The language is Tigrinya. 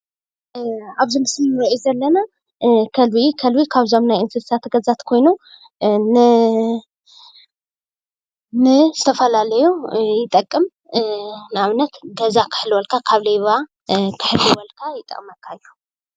አብዚ ምስሊ ንሪኦ ዘለና ከልቢ ከልቢ ከብዞም ናይ እንስሳት ገዛ ኮይኑ ንዝተፈላለዩ ይጠቅም፡፡ ንአብነት ገዛ ክሕልወልካ ካብ ሌባ ክሕልወልካ ይጠቅመካ እዮ፡፡